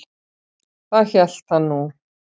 Það hélt hann nú.